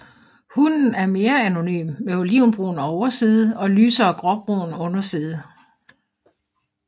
Hunnen er mere anonym med olivenbrun overside og lysere gråbrun underside